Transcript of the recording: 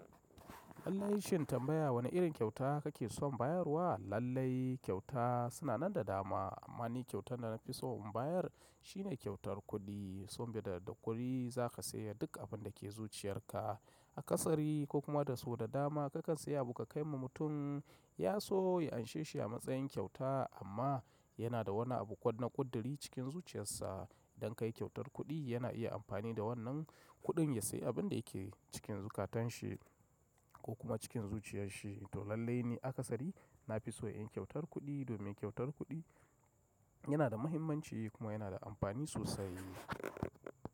Lallai shin tambaya wane irin kyauta kake son bayar wa? Lallai kyauta suna nan da dama amma ni kyautar da na fi so in bayar shine kyautar kuɗi. Saboda da kuɗi za ka saya duk abin da ke zuciyar ka. A kasari ko kuma da so da dama kakan saya abu ka kai ma mutum. Ya so ya anshe shi a matsayin kyauta amma yana da wani abu kona kuddari cikin zuciyarsa. Dan kai kyautar kuɗi yana iya amfani da wannan kuɗin ya sayi abin da yake cikin zukatan shi ko kuma cikin zuciyar shi. To lallai ni a kasari na fi so inyi kyautar kuɗi domin kyautar kuɗi yana da muhimmanci kuma yana da amfani sosai.